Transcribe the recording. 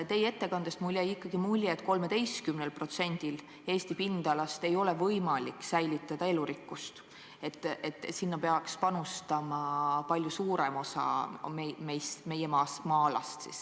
Teie ettekandest jäi mulle mulje, et 13%-l Eesti pindalast ei ole võimalik säilitada elurikkust ja selleks peaks eraldama palju suurema osa meie maa-alast.